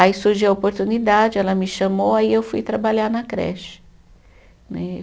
Aí surgiu a oportunidade, ela me chamou, aí eu fui trabalhar na creche né.